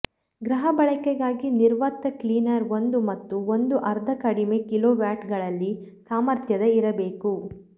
ಗೃಹ ಬಳಕೆಗಾಗಿ ನಿರ್ವಾತ ಕ್ಲೀನರ್ ಒಂದು ಮತ್ತು ಒಂದು ಅರ್ಧ ಕಡಿಮೆ ಕಿಲೋವ್ಯಾಟ್ಗಳಲ್ಲಿ ಸಾಮರ್ಥ್ಯದ ಇರಬೇಕು